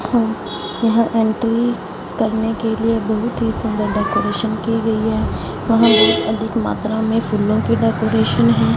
यहां एंट्री करने के लिए बहुत ही सुंदर डेकोरेशन गई है। यहां अधिक मात्रा में फूलों की डेकोरेशन है।